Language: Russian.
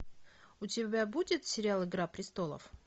у тебя будет сериал игра престолов